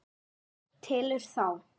Telur þá.